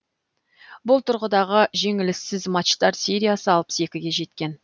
бұл тұрғыдағы жеңіліссіз матчтар сериясы алпыс екіге жеткен